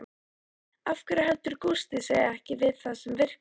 Af hverju heldur Gústi sig ekki við það sem virkar?